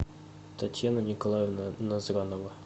татьяна николаевна назранова